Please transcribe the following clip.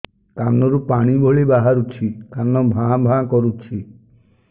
କାନ ରୁ ପାଣି ଭଳି ବାହାରୁଛି କାନ ଭାଁ ଭାଁ କରୁଛି